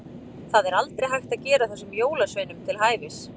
Það er aldrei hægt að gera þessum jólasveinum til hæfis.